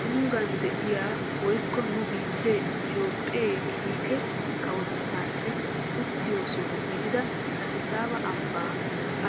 Tunggaan de'iyaa woykko nu biittee itoophphee kiike kawotetteesi uttiyoo soho gidida adisaaba ambbaa